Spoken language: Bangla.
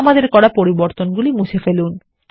আমাদের করাপরিবর্তনগুলি মুছে ফেলুন